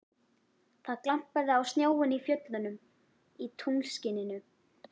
Það glampaði á snjóinn í fjöllunum í tunglskininu.